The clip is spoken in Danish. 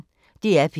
DR P1